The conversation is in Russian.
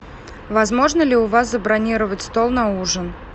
возможно ли у вас забронировать стол на ужин